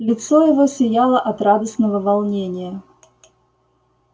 лицо его сияло от радостного волнения